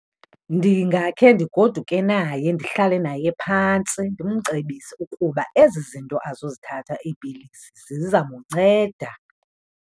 Ndingakhe ndigoduke naye, ndihlale naye phantsi. Ndimcebise ukuba ezi zinto azozithatha, iipilisi, zizamnceda.